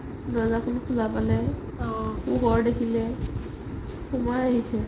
দৰ্যাখন খুলা পালে পোহৰ দেখিলে সোমাই আহিছে